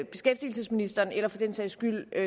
beskæftigelsesministeren eller for den sags skyld